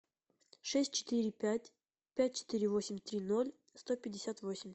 шесть четыре пять пять четыре восемь три ноль сто пятьдесят восемь